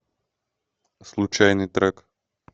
случайный трек